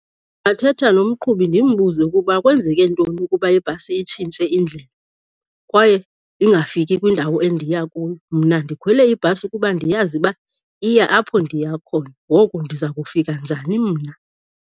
Ndingathetha nomqhubi ndimbuze ukuba kwenzeke ntoni ukuba ibhasi itshintshe indlela kwaye ingafiki kwindawo endiya kuyo. Mna ndikhwele ibhasi kuba ndiyazi uba iya apho ndiya khona. Ngoku ndiza kufika njani mna?